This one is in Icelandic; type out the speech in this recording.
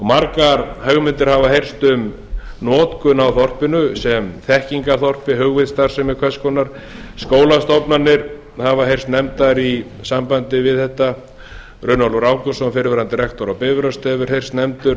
margar hugmyndir hafa heyrst um notkun á þorpinu sem þekkingarþorpi hugvitsstarfsemi hvers konar skólastofnanir hafa heyrst nefndar í sambandi við þetta runólfur ágústsson fyrrverandi rektor á bifröst hefur heyrst nefndur